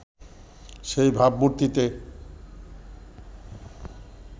সেই ভাবমূর্তিতে